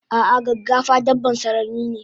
Ah ah gaggafa dabban sarari ne